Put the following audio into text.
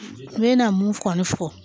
N bɛna mun kɔni fɔ